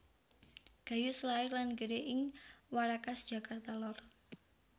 Gayus lair lan gedhe ing Warakas Jakarta lor